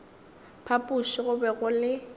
phapoši go be go le